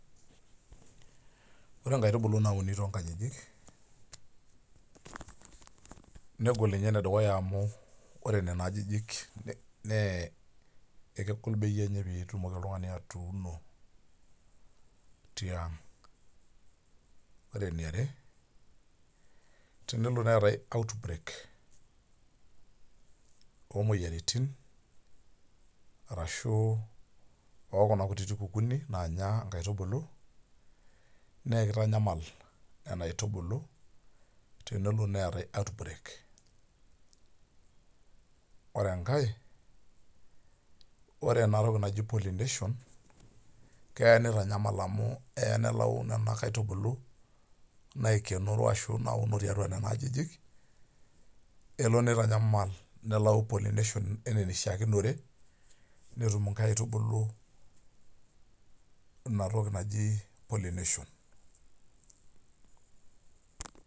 Ore nkaitubulu nauni tonkajijik negol nye enedukuya amu ore nona ajijik ne kegol bei enye peitumoki oltungani atuuno tianga, ore enjare tenelo neetae outbreak omoyiaritin arashu okuna kukue kututini nanya nkaitubulu na kitanyal nona aitubulu tenelo neetae outbreak ore enkae ore enatoki naji pollination keya nitanyamal amu kelo nelau nonabaitubulu naikenoro ashu natii atua nona ajijik kelo nitanyaamal nelau pollination ana enishare netumbnkaitubulu inatoki naji pollination.